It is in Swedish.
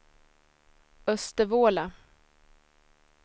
Östervåla